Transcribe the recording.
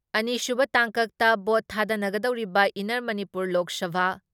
ꯑꯅꯤꯁꯨꯕ ꯇꯥꯡꯀꯛꯇ ꯚꯣꯠ ꯊꯥꯗꯅꯒꯗꯧꯔꯤꯕ ꯏꯟꯅꯔ ꯃꯅꯤꯄꯨꯔ ꯂꯣꯛ ꯁꯚꯥ